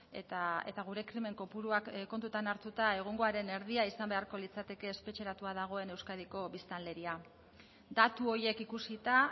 eta gure krimen kopuruak kontutan hartuta egungoaren erdia izan beharko litzateke espetxeratua dagoen euskadiko biztanleria datu horiek ikusita